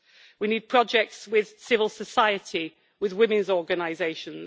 We need projects with civil society, with women's organisations.